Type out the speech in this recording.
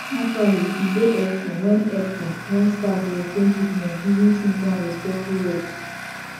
actually e dey hepful wen hepful wen staf dey explain treatment using simple and respectful words